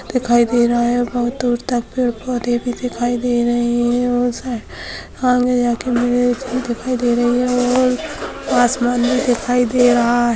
दिखाई दे रहा है और बोहोत बहु दूर तक पैड पौधे भी दिखाई दे रहे है और वो साई दिखाई दे रही है और आसमान भी दिखाई दे रहा है।